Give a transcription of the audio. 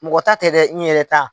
Mɔgɔ ta tɛ dɛ n yɛrɛ ta.